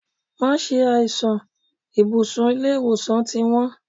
Má ṣe àìsàn, ibùsùn ilé ìwòsàn ti wón.